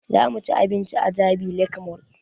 Za mu ci abinci a jabi lake mall